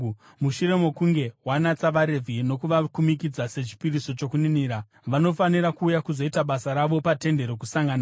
“Mushure mokunge wanatsa vaRevhi nokuvakumikidza sechipiriso chokuninira, vanofanira kuuya kuzoita basa ravo paTende Rokusangana.